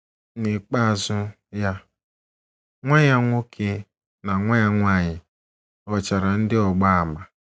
N’ikpeazụ, ya, nwa ya nwoke, na nwa ya nwanyị ghọchara ndị ọgba ama.